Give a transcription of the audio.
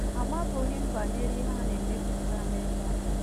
Amabughị m banyere ihe a na-emepụta n’ebe a.